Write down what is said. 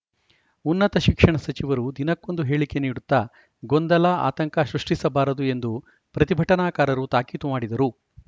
ಉನ್ನತ ಶಿಕ್ಷಣ ಸಚಿವರು ದಿನಕ್ಕೊಂದು ಹೇಳಿಕೆ ನೀಡುತ್ತಾ ಗೊಂದಲ ಆಂತಕ ಸೃಷ್ಟಿಸಬಾರದು ಎಂದು ಪ್ರತಿಭಟನಾಕಾರರು ತಾಕೀತು ಮಾಡಿದರು